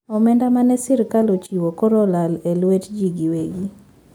Omenda mane sirkal ochiwo koro olal e lwet jii gi wegi